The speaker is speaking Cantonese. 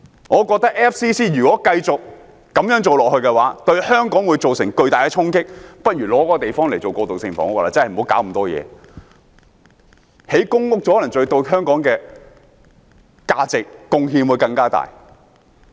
我認為 FCC 如果繼續這樣做，對香港會造成巨大的衝擊，不如把那個地方用作過渡性房屋，不要製造那麼多問題，興建公屋可能對香港的價值和貢獻更大。